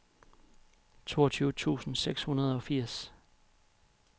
toogtyve tusind seks hundrede og firs